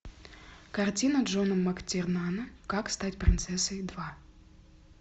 картина джона мактирнана как стать принцессой два